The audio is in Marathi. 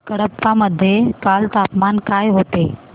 कडप्पा मध्ये काल तापमान काय होते